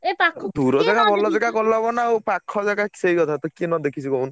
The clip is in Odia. ଦୂର ଜେଗା ଭଲ ଜେଗା ଗଲେ ହବ ନାଁ ଆଉ ପାଖ ଜେଗା ସେଇ କଥା ତ କିଏ ନ ଦେଖିଛି କହୁନୁ?